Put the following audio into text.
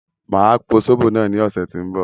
Máa po zóbò náà ní ọ̀sẹ̀ tí ń bọ̀